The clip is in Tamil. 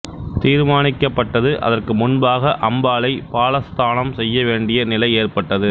தீர்மானிக்கப்பட்டது அதற்கு முன்பாக அம்பாளை பாலஸ்தானம் செய்ய வேண்டிய நிலை ஏற்பட்டது